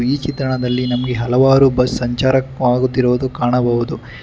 ಈ ಚಿತ್ರಣ್ಣದಲ್ಲಿ ನಮಗೆ ಹಲವಾರು ಬಸ್ ಸಂಚಾರ ಆಗುತ್ತಿರುವುದು ಕಾಣಬಹುದು.